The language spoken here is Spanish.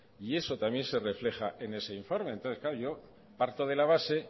y eso también se refleja en ese informe entonces claro yo parto de la base